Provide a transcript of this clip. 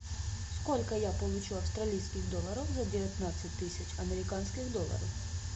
сколько я получу австралийских долларов за девятнадцать тысяч американских долларов